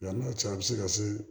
n'a cun a be se ka se